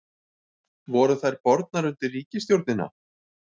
Voru þær bornar undir ríkisstjórnina?